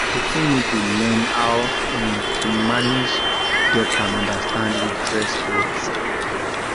person need to learn how um to manage debt and understand interest rates